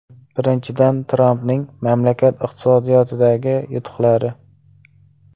Birinchidan, Trampning mamlakat iqtisodiyotidagi yutuqlari.